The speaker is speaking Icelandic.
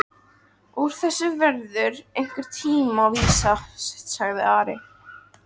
Úr þessu verður einhvern tíma vísa, sagði Ari.